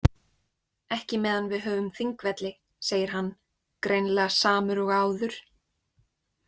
Ekki meðan við höfum Þingvelli, segir hann, greinilega samur og áður.